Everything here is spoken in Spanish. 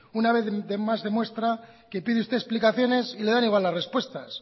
una vez más demuestra que pide usted explicaciones y le dan igual las respuestas